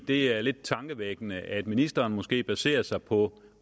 det er lidt tankevækkende at ministeren måske baserer sig på